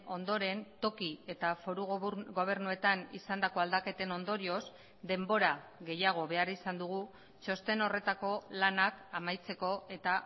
ondoren toki eta foru gobernuetan izandako aldaketen ondorioz denbora gehiago behar izan dugu txosten horretako lanak amaitzeko eta